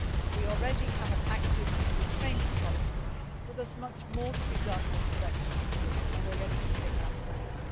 We already have an active EU training policy, but there is much more to be done in this direction and we are ready to take that forward.